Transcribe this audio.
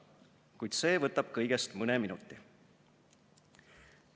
Kuid see võtab kõigest mõne minuti.